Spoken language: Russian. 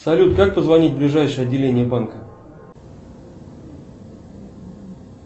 салют как позвонить в ближайшее отделение банка